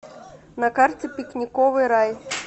на карте пикниковый рай